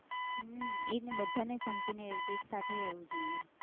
હમ એજ ને બધાને સંપીને રહેવું જોઈએ, એકસાથે રહેવું જોઈએ.